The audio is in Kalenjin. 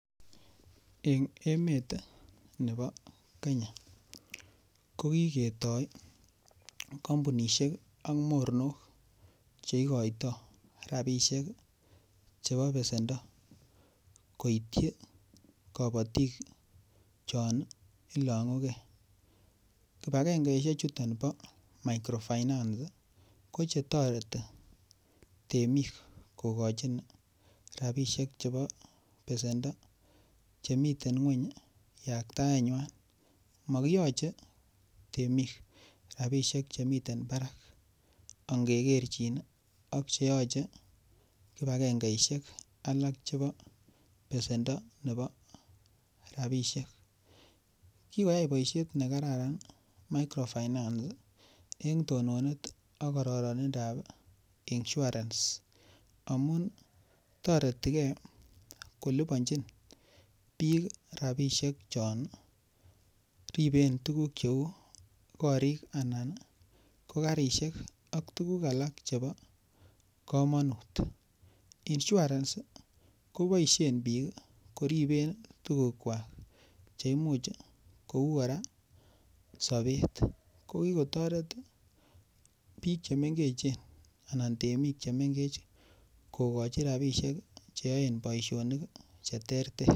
Eng' emet nebo Kenya ko kiketoi kampunishek ak mornok cheikoitoi rabishek chebo besendo koityi kabotik chon ilong'ukei kipakengeishek chuton bo microfinance ko chetoretin temik kokochin rapishek chebo besendo chemiten ng'weny yakataenywai makiyochei temik rabishek chemiten barak angekerjin ak cheyoche kipakengeishek alak chebo besendo nebo rapishek kikoyai boishet nekararan microfinance eng' tononat ak kororonindoab insurance amun toretigei kolipanjin biik rabishek chon riben tukuk cho uu korik anan ko karishek ak tukuk alak chebo kamanut insurance koboishen biik koriben tukukwak che imuuch kou kora sobet ko kikotoret biik chemengechen anan temik chemengech kokochi rabishek cheoen boishonik cheterter